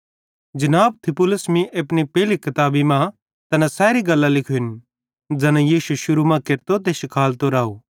जनाब थियुफिलुस मीं अपनी पेइली किताब मां तैना सैरी गल्लां लिखोरिन ज़ैना यीशु शुरू मां केरतो ते शिखालतो राव